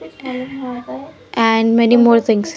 And many more things.